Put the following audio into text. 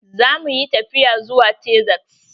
Zamu yi tafiya zuwa Texas.